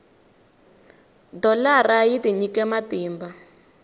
dholara yi tinyikele matimba